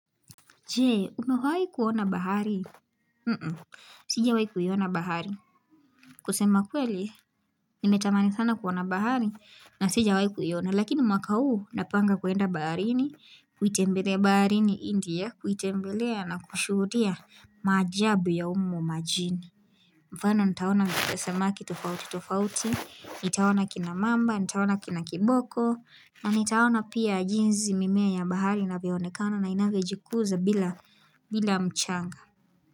Jee, umewahi kuona bahari? Nuhu, sijawahi kuiona bahari. Kusema kweli, nimetamani sana kuona bahari na sijawahi kuiona. Lakini mwaka huu, napanga kuenda baharini, kuitembelea baharini india, kuitembelea na kushuhudia maajabu ya humo majini. Mfano, nitaona niletamani sana kuona bahari, nitaona kina mamba, nitaona kina kiboko, na nitaona pia jinzi mimea ya bahari inavyoonekana na inavyojikuza bila mchanga.